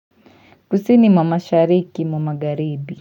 Kusini mwa mashariki mwa magharibi.